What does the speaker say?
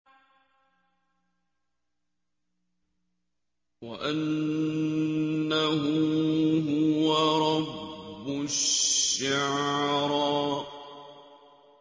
وَأَنَّهُ هُوَ رَبُّ الشِّعْرَىٰ